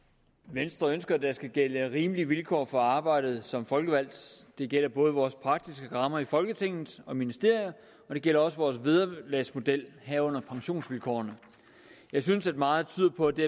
venstre ønsker at der skal gælde rimelige vilkår for arbejdet som folkevalgt det gælder både vores praktiske rammer i folketinget og ministerier og det gælder også for vores vederlagsmodel herunder pensionsvilkårene jeg synes at meget tyder på at det